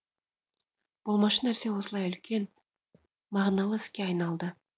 болмашы нәрсе осылай үлкен мағыналы іске айналды